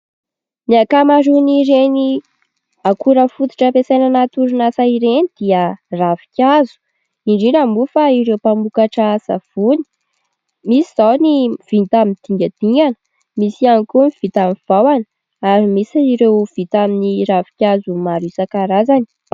Ny akamaroan'ireny akora fototra ampiasaina anaty orinasa ireny dia ravin-kazo, indrindra moa fa ireo mpamokatra savoany, misy zao ny vita amin'ny dingadingana, misy ihany koa ny vita amin'ny vahona ary misy ireo vita amin'ny ravin-kazo maro isan-karazany.